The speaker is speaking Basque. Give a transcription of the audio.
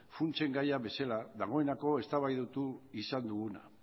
funtsen gaia bezala dagoeneko eztabaidatu izan duguna